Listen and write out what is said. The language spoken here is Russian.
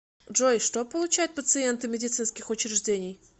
джой что получают пациенты медицинских учреждений